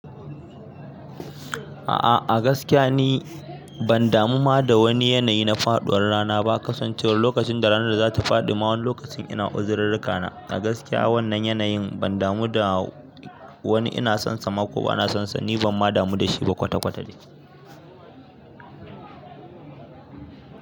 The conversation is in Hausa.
A'a a gaskiya ni ban damu ma da wani yanayi na faɗuwar rana. Ba kasancewar lokacin da rana za ta faɗi ma wani lokacin ina uzurirrika na. A gaskiya wannan yanayin ban damu da wani ina sonsa ma ko bana sonsa. Ni ban ma damu da shi ba kwata-kwata dai.